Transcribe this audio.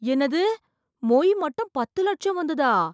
என்னது, மொய் மட்டும் பத்து லட்சம் வந்துதா?